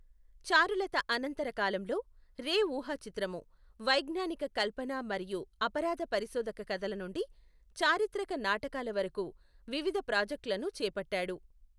చారులత అనంతర కాలంలో, రే ఊహాచిత్రము, వైజ్ఞానిక కల్పన మరియు అపరాధ పరిశోధక కథల నుండి చారిత్రక నాటకాల వరకు వివిధ ప్రాజెక్టులను చేపట్టాడు.